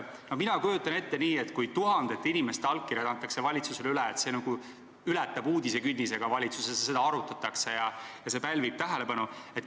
Mina kujutan ette nii, et kui tuhandete inimeste allkirjad antakse valitsusele üle, siis see ületab uudisekünnise, ka valitsuses seda arutatakse ja see pälvib tähelepanu.